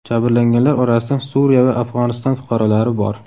Jabrlanganlar orasida Suriya va Afg‘oniston fuqarolari bor.